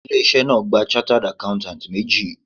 Ilé iṣẹ́ náà gba chartered accountants méjì